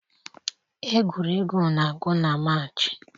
Egwuregwu na-agwụ na March